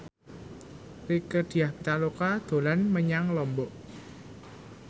Rieke Diah Pitaloka dolan menyang Lombok